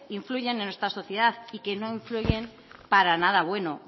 influyen en nuestra sociedad y que no influyen para nada bueno